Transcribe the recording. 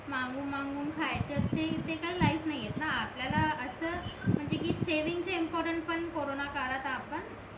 मागून मागून खायचा ते काय लाईफ नाहीना आपल्याला असं म्हणजे कि सेविंगच इम्पॉर्टन्ट पण कॉरोन काळात आपण